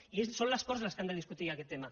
i són les corts les que han de discutir aquest tema